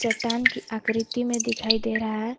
चट्टान की आकृति में दिखाई दे रहा है।